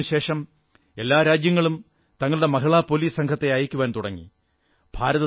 അതിനുശേഷം എല്ലാ രാജ്യങ്ങളും തങ്ങളുടെ മഹിളാ പോലീസ് സംഘത്തെ അയയ്ക്കുവാൻ തുടങ്ങി